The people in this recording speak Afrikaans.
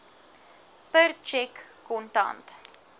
per tjek kontant